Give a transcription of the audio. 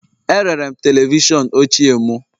Erere m televishọn ochie m